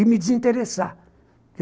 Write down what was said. E me desinteressar.